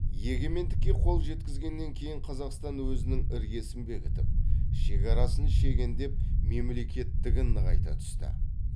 егемендікке қол жеткізгеннен кейін қазақстан өзінің іргесін бекітіп шекарасын шегендеп мемлекеттігін нығайта түсті